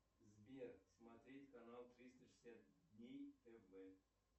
сбер смотреть канал триста шестьдесят дней тв